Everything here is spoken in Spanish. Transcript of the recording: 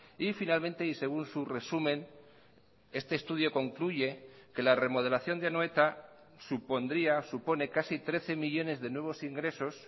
y finalmente y según su resumen este estudio concluye que la remodelación de anoeta supondría supone casi trece millónes de nuevos ingresos